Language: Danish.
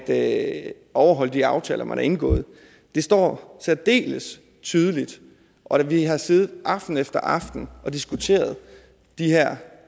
at overholde de aftaler man har indgået det står særdeles tydeligt og vi har siddet aften efter aften og diskuteret de her